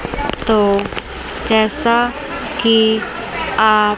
तो जैसा की आ--